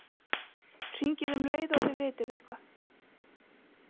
Hringið um leið og þið vitið eitthvað.